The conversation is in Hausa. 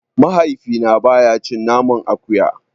Mahaifina baya cin naman akuya.